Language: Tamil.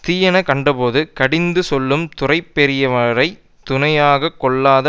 தீயன கண்டபோது கடிந்து சொல்லும் துறை பெரியவரை துணையாக கொள்ளாத